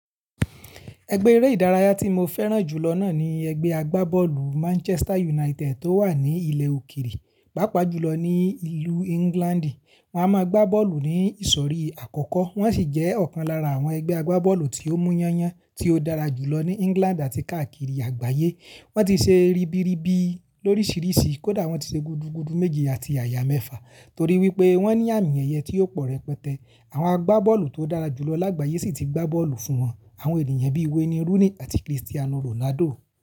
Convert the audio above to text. Ẹgbẹ́ eré ìdárayá tí mo fẹ́ràn jù lọ náà ní ẹgbẹ́ agbábọ́ọ̀lù Manchester United tó wà ní ilẹ̀ òkèèrè, pàápàá jùlọ ní ìlú England. Wọ́n a máa gbá bọ́ọ̀lù ní ìsọ̀rí àkọ́kọ́, wọ́n sì jẹ́ ọ̀kan lára àwọn ẹgbẹ́ agbábọ́ọ̀lù tí ó mú yán yan tí ó dára jùlọ ní England àti káàkiri àgbáyé. Wọ́n ti ṣe ribiribi lórísìíríṣìí, kódà wọ́n ti ṣe gudugudu méje àti àyà mẹ́fà torí wípé wọ́n ní àmìẹ̀yẹ tí ó pọ̀ rẹpẹtẹ. Àwọn agbábọ́ọ̀lù tó dára jùlọ lágbàyé sì ti gbá bọ́ọ̀lù fún wọn, àwọn ènìyàn bíi Wayne Rooney àti Cristiano Ronaldo.